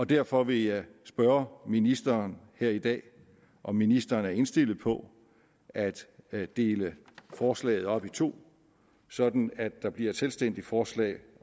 derfor vil jeg spørge ministeren her i dag om ministeren er indstillet på at at dele forslaget op i to sådan at der bliver et selvstændigt forslag